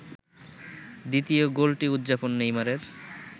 দ্বিতীয় গোলটি উদযাপন নেইমারের